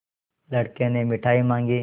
लड़के ने मिठाई मॉँगी